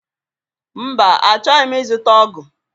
Mba, Achọghị m ịzụta ọgụ